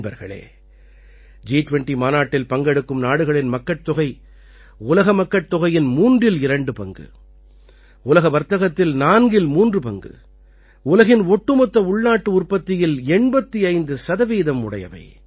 நண்பர்களே ஜி20 மாநாட்டில் பங்கெடுக்கும் நாடுகளின் மக்கட்தொகை உலக மக்கட்தொகையின் மூன்றில் இரண்டு பங்கு உலக வர்த்தகத்தில் நான்கில் மூன்று பங்கு உலகின் ஒட்டுமொத்த உள்நாட்டு உற்பத்தியில் 85 சதவீதம் உடையவை